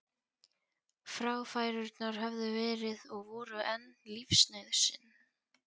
Fráfærurnar höfðu verið og voru enn lífsnauðsyn.